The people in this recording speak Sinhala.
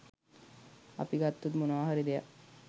අපි ගත්තොත් මොනවාහරි දෙයක්